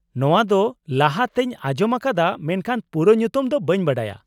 -ᱱᱚᱶᱟ ᱫᱚ ᱞᱟᱦᱟ ᱛᱮᱧ ᱟᱸᱡᱚᱢ ᱟᱠᱟᱫᱟ ᱢᱮᱱᱠᱷᱟᱱ ᱯᱩᱨᱟᱹ ᱧᱩᱛᱩᱢ ᱫᱚ ᱵᱟᱹᱧ ᱵᱟᱰᱟᱭᱟ ᱾